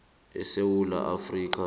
esewula